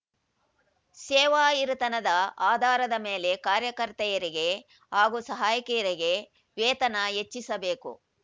ಸೇವಾಹಿರಿತನದ ಆಧಾರದ ಮೇಲೆ ಕಾರ್ಯಕರ್ತೆಯರಿಗೆ ಹಾಗೂ ಸಹಾಯಕಿಯರಿಗೆ ವೇತನ ಹೆಚ್ಚಿಸಬೇಕು